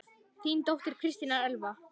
Þín dóttir, Kristín Elfa.